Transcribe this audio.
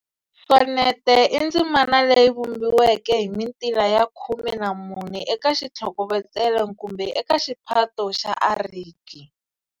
Sonete i ndzimana leyi vumbiweke hi mintila ya khume na mune eka xitlhokovetselo kumbe eka xiphato xa ariki.